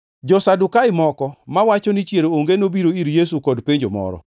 Jo-Sadukai moko, mawacho ni chier onge, nobiro ir Yesu kod penjo moro.